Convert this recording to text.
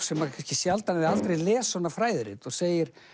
sem kannski sjaldan eða aldrei les svona fræðirit og segir